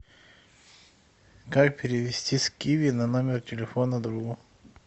как перевести с киви на номер телефона другу